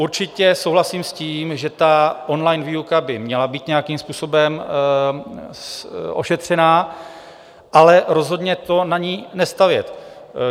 Určitě souhlasím s tím, že on-line výuka by měla být nějakým způsobem ošetřená, ale rozhodně to na ní nestavět.